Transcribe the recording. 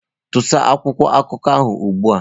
Tusaa akwụkwọ akụkọ ahụ ugbu a!